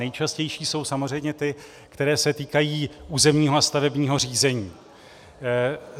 Nejčastější jsou samozřejmě ty, které se týkají územního a stavebního řízení.